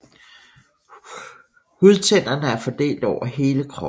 Hudtænderne er fordelt over hele kroppen